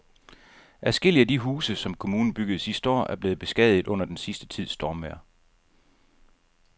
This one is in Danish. Adskillige af de huse, som kommunen byggede sidste år, er blevet beskadiget under den sidste tids stormvejr.